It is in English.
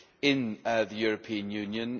in the European Union.